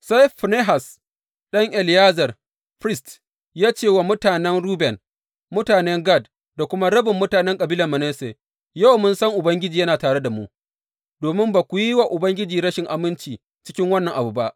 Sai Finehas ɗan Eleyazar, firist, ya ce wa mutanen Ruben, mutanen Gad da kuma rabin mutanen kabilar Manasse, Yau mun san Ubangiji yana tare da mu, domin ba ku yi wa Ubangiji rashin aminci cikin wannan abu ba.